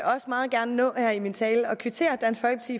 også meget gerne nå her i min tale at kvittere